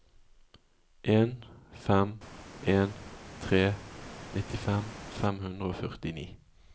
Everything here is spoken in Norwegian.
en fem en tre nittifem fem hundre og førtini